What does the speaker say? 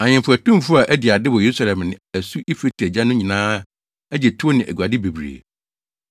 Ahemfo atumfo a adi ade wɔ Yerusalem ne asu Eufrate agya no nyinaa agye tow ne aguade bebree.